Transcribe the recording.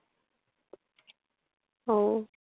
অউ।